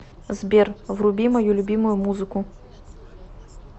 сбер вруби мою любимую музыку